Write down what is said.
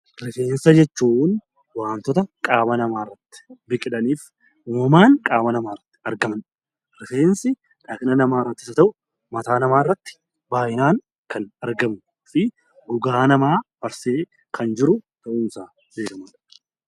Rifeensa jechuun waantota qaama namaa irratti biqilanii fi uumamaan qaama namaa irratti argaman. Rifeensi dhaqna namaas haa ta'uu mataa irratti baayyinaan kan argamuu fi gogaa namaa marsee kan jiru ta'uun isaa beekamaadha.